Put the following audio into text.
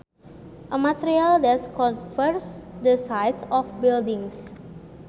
A material that covers the sides of buildings